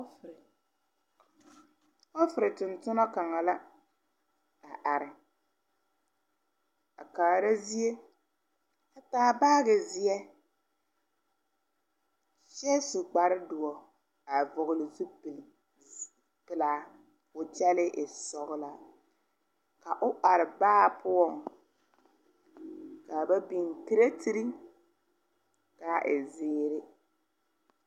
ɔɔfere toŋtonna kaŋ la a are, a kaara zie a taa baage ziɛ kyɛ su kpare dɔ a vɔgle zupele pelaa ko'o kyɛle e sɔglaa ka o are baa poɔ ka ba biŋ create kaa e ziiri.